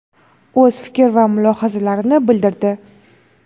o‘z fikr va mulohazalarini bildirdi.